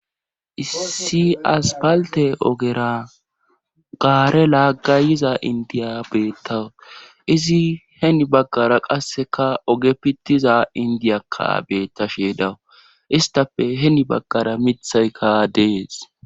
Issi aspalte ogera gaare laaggayiza indiya beetta izi heni baggara qasseka oge pittiza indiyakka beetta sheedawu istafe heni baggara mithaykka dees.